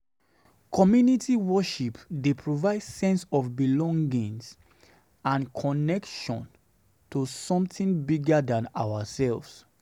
Community worship dey provide seen sense of belongings and connection to something bigger than ourselves.